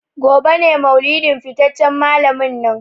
Gobe ​​ne maulidin fitaccen malamin nan.